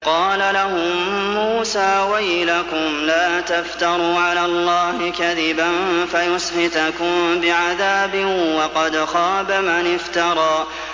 قَالَ لَهُم مُّوسَىٰ وَيْلَكُمْ لَا تَفْتَرُوا عَلَى اللَّهِ كَذِبًا فَيُسْحِتَكُم بِعَذَابٍ ۖ وَقَدْ خَابَ مَنِ افْتَرَىٰ